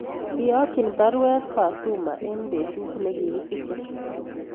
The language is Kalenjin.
Iyokyin baruet Fatuma eng betut negi kisiche